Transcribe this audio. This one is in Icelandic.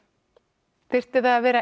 þyrfti það að vera